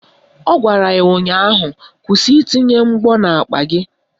Ọ gwara ya ụnyaahụ " Kwụsị itinye mgbọ n'akpa gị"!